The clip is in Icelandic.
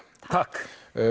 takk